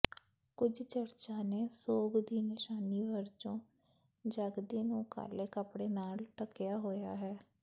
ਕੁਝ ਚਰਚਾਂ ਨੇ ਸੋਗ ਦੀ ਨਿਸ਼ਾਨੀ ਵਜੋਂ ਜਗਦੀ ਨੂੰ ਕਾਲੇ ਕੱਪੜੇ ਨਾਲ ਢਕਿਆ ਹੋਇਆ ਹੈ